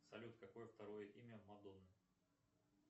салют какое второе имя мадонны